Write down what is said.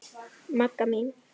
Magga mín.